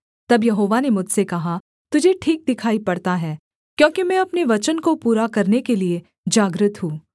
तब यहोवा ने मुझसे कहा तुझे ठीक दिखाई पड़ता है क्योंकि मैं अपने वचन को पूरा करने के लिये जागृत हूँ